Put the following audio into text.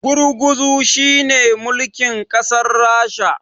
gurguzu shi ne mulkin kasar rasha